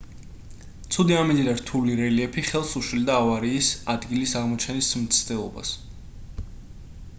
ცუდი ამინდი და რთული რელიეფი ხელს უშლიდა ავარიის ადგილის აღმოჩენის მცდელობას